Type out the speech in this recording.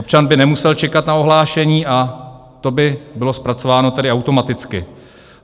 Občan by nemusel čekat na ohlášení a to by bylo zpracováno tedy automaticky.